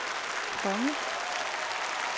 konge